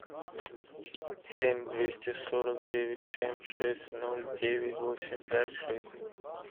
семь двести сорок девять семь шесть ноль девять восемь пять шесть